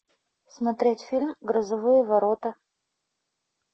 смотреть фильм грозовые ворота